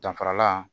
Danfaralan